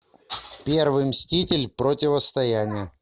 первый мститель противостояние